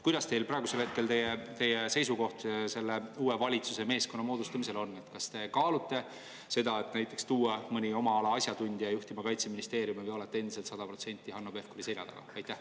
Milline seisukoht teil praegu selle uue valitsuse meeskonna moodustamisel on: kas te kaalute seda, et näiteks tuua mõni oma ala asjatundja Kaitseministeeriumit juhtima, või olete endiselt sada protsenti Hanno Pevkuri selja taga?